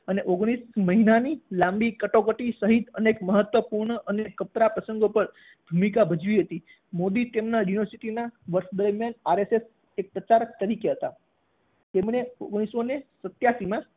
અને ઓગણીશ મહિનાની લાંબી કટોકટી સહિત અનેક મહત્વપૂર્ણ અને કપરા પ્રસંગો પર ભૂમિકા ભજવી હતી. મોદી તેમના યુનિવર્સિટીના વર્ષ દરમ્યાન RSS એક પ્રચારક તરીકે હતા તેમણે ઓગણીસો સત્યાશીમાં